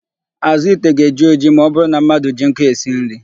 Àzụ́ ite ga-eji ojii ma ọbụrụ na mmadụ ji nkụ esi nri.